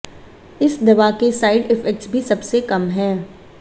इस दवा के साइड इफेक्ट्स भी सबसे कम हैं